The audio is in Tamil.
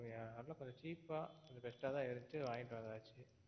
அதெல்லாம் கொஞ்சம் cheap ஆ best ஆ தான் இருந்துச்சு வாங்கிட்டு வந்தாச்சு.